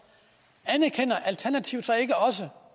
anerkender alternativet så ikke også